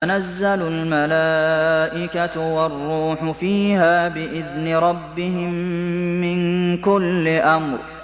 تَنَزَّلُ الْمَلَائِكَةُ وَالرُّوحُ فِيهَا بِإِذْنِ رَبِّهِم مِّن كُلِّ أَمْرٍ